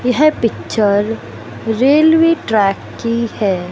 यह picture railway track की है।